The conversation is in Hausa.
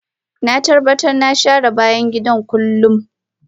Na tabbatar na share bayan gida kullum